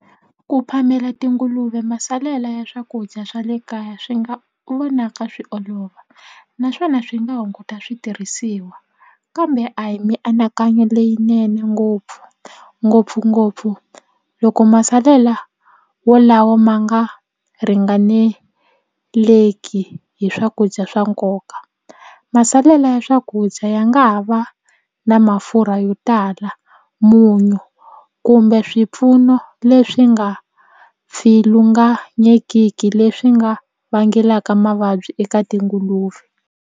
Ku phamela tinguluve masalela ya swakudya swa le kaya swi nga vonaka swi olova naswona swi nga hunguta switirhisiwa kambe a hi mianakanyo leyinene ngopfu ngopfungopfu loko masalela wolawa ma nga ringaneleki hi swakudya swa nkoka masalela ya swakudya ya nga ha va na mafurha yo tala munyu kumbe swipfuno leswi nga pfilunganyekiki leswi nga vangelaka mavabyi eka tinguluve.